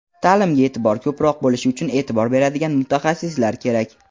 Ta’limga e’tibor ko‘proq bo‘lishi uchun e’tibor beradigan mutaxassislar kerak.